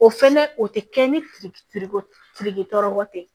O fɛnɛ o tɛ kɛ ni kɔsiri tɔ tɛ